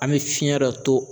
An bi fiɲɛ dɔ to